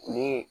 Ni